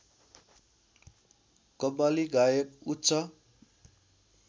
कव्वाली गायक उच्च